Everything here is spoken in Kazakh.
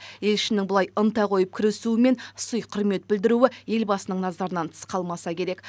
елшінің бұлай ынта қойып кірісуі мен сый құрмет білдіруі елбасының назарынан тыс қалмаса керек